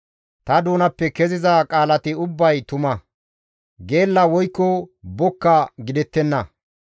Ta doonappe keziza qaalati ubbay tuma; geella woykko bokka gidettenna.